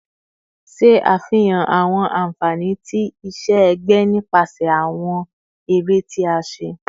Ṣe afihan awọn anfani ti iṣẹ-ẹgbẹ nipasẹ awọn ere ti a ṣe